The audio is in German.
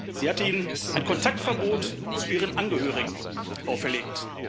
Sie hat ihnen ein Kontaktverbot zu ihren Angehörigen auferlegt.